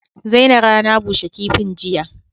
Zaina rana bushe kifin jiya